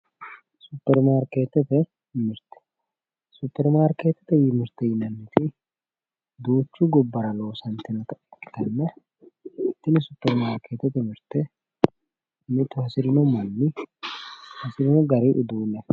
Superimaarkeettete mirte yinanniti duucha gabbara loosantinota ikkitanna tini supermaakeettete mirte mitu hadirino manni hasirino gari uduunne afirannowaati.